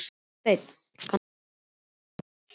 Hásteinn, kanntu að spila lagið „Nei sko“?